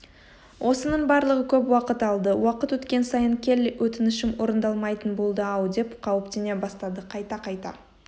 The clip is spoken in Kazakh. осының барлығы көп уақыт алды уақыт өткен сайын келли өтінішім орындалмайтын болды-ау деп қауіптене бастады қайта-қайта